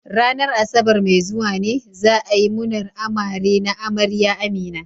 Ranar Asabar mai zuwa ne za a yi munar amare na amarya Amina.